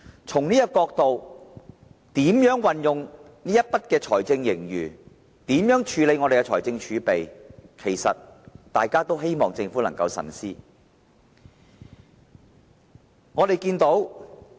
從這個角度來看，對於如何運用財政盈餘及處理財政儲備，大家也希望政府能夠慎思。